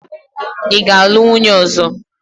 Ị ga-alụ nwunye ọzọ!